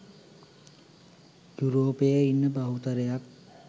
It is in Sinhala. යුරෝපයේ ඉන්න බහුතරයක්